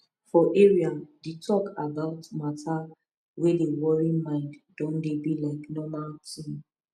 for area the talk about matter wey dey worry mind don dey be like normal thing